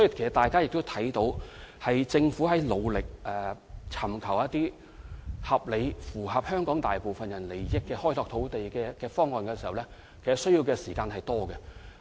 所以，大家可以看到，政府在努力尋求合理而符合香港大部分人利益的土地開拓方案時，所需時間極多。